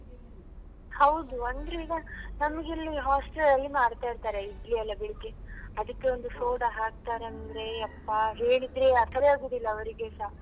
ಹೌದು ಅಂದ್ರೆ ಈಗ ನಮ್ಗಿಲ್ಲಿ hostel ಅಲ್ಲಿ ಮಾಡ್ತಾ ಇರ್ತಾರೆ ಇಡ್ಲಿ ಎಲ್ಲ ಬೆಳಿಗ್ಗೆ ಅದಿಕ್ಕೆ ಒಂದು soda ಹಾಕ್ತಾರಂದ್ರೆ ಯಪ್ಪಾ ಹೇಳಿದ್ರೆ ಅರ್ಥವೇ ಆಗುದಿಲ್ಲ ಅವ್ರಿಗೆಸ.